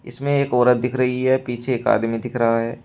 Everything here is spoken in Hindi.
इसमें एक औरत दिख रही है पीछे एक आदमी दिख रहा है।